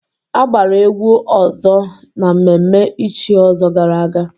A gbara egwu ọzọ na mmemme ichi ọzọ gara aga.